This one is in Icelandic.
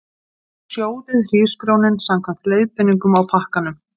Sjóðið hrísgrjónin samkvæmt leiðbeiningum á pakkanum.